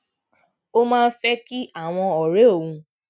ó máa ń fé kí àwọn òré òun